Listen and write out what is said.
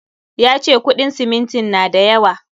Ya ce kuɗin simintin na da yawa.